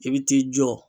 I bɛ t'i jɔ